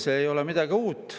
Selles ei ole midagi uut.